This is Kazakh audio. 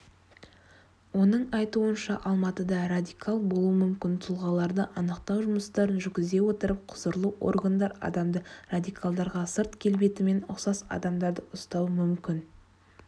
оның айтуынша алматыда радикал болуы мүмкін тұлғаларды анықтау жұмыстарын жүргізе отырып құзырлы органдар адамды радикалдарға сырт келбетімен ұқсас адамдарды ұстауы мүмкін